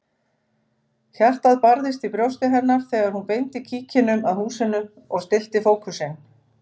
Hjartað barðist í brjósti hennar þegar hún beindi kíkinum að húsinu og stillti fókusinn.